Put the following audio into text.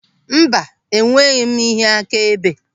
Mba, enweghị m ihe akaebe.